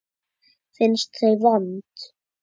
Finnst þau vond.